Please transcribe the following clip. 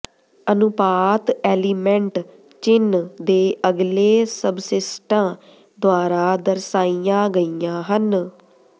ਅਨੁਪਾਤ ਐਲੀਮੈਂਟ ਚਿੰਨ੍ਹ ਦੇ ਅਗਲੇ ਸਬਸਿਸਟਾਂ ਦੁਆਰਾ ਦਰਸਾਈਆਂ ਗਈਆਂ ਹਨ